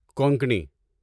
Konkani